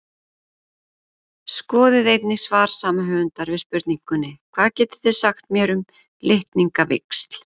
Skoðið einnig svar sama höfundar við spurningunni Hvað getið þið sagt mér um litningavíxl?